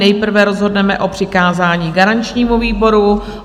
Nejprve rozhodneme o přikázání garančnímu výboru.